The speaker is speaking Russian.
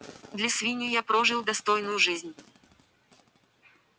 для свиньи я прожил достойную жизнь